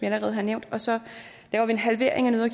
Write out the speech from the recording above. allerede har nævnt og så laver vi en halvering af